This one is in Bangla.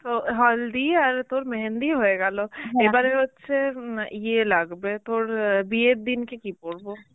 তো হালদি আর তোর মেহেন্দি হয়ে গেল এবারের হচ্ছে উম ইয়ে লাগবে তোর অ্যাঁ বিয়ের দিন কে কী পরবো?